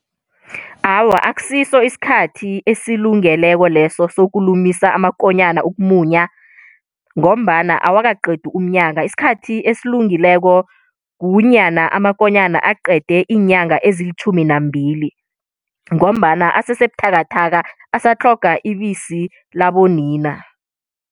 Awa, akusiso isikhathi esilungeleko leso sokulumulisa amakonyana ukumunya, ngombana awakaqedi umnyaka. Isikhathi esilungileko kunyana amakonyana aqede iinyanga ezilitjhumi nambili, ngombana asesebuthakathaka asatlhoga ibisi labo nina.